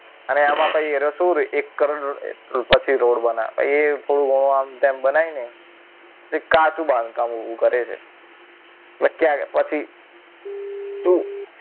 અને આમાં પછી રસુ એક કરોડનું રોડ બનાવે પછી થોડું ઘણું આમ તેમ બનાવીને. અને કાચું બાંધકામ ઊભું કરે છે અને ક્યાંક પછી શું